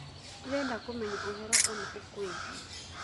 Ndĩreda kũmenya ũhoro ũna ũkuĩĩgie